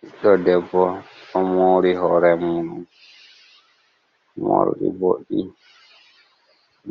Ɓiɗɗo ɗo debbo, ɗo mori hore mum, morɗi boɗɗi